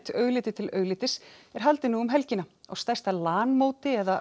augliti til auglitis er haldið nú um helgina á stærsta Lan móti eða